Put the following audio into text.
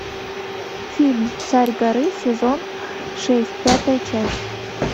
фильм царь горы сезон шесть пятая часть